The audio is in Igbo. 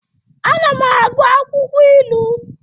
Ana m agụ akwụkwọ ilu.